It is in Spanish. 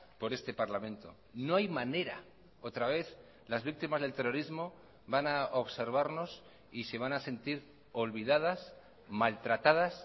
por este parlamento no hay manera otra vez las víctimas del terrorismo van a observarnos y se van a sentir olvidadas maltratadas